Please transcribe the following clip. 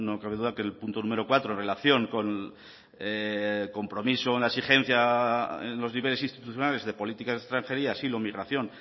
cabe duda que el punto número cuatro en relación con compromiso en la exigencia en los niveles institucionales de política extranjería asilo migración